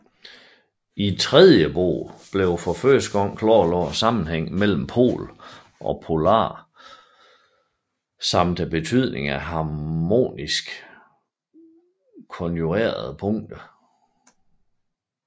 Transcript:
I tredje bog blev for første gang klarlagt sammenhængene mellem pol og polare samt betydningen af harmonisk konjugerede punkter